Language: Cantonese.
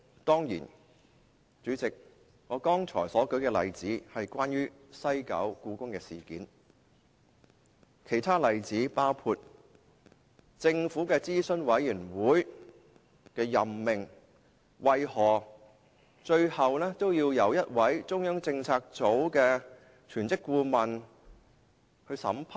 當然，主席，我剛才所舉的例子是關於西九故宮館事件，其他例子包括政府轄下諮詢委員會的任命何以最後會由中央政策組的一位全職顧問審批。